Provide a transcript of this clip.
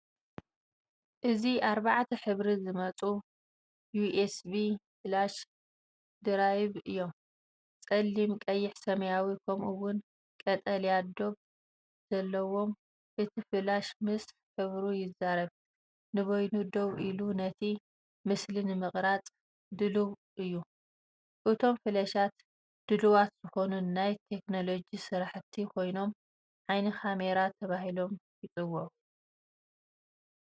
እዚ ብኣርባዕተ ሕብሪ ዝመጹ ዩኤስቢ ፍላሽ ድራይቭ እዮም - ጸሊም፡ ቀይሕ፡ ሰማያዊ፡ ከምኡ’ውን ቀጠልያ ዶብ ዘለዎም። እቲ ፍላሽ ምስ ሕብሩ ይዛረብ፤ ንበይኑ ደው ኢሉ፡ነቲ ምስሊ ንምቕራጽ ድሉው እዩ። እቶም ፍላሻት ድሉዋት ዝኾኑ ናይ ቴክኖሎጂ ስራሕቲ ኮይኖም፡“ዓይኒ ካሜራ”ተባሂሎም ይጽውዑ።